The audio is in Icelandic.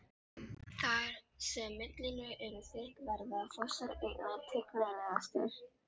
Þar sem millilög eru þykk verða fossar einna tignarlegastir.